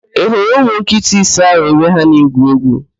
Ị hụrụ ụmụ nkịta ise ahụ ebe ha na-egwu égwú?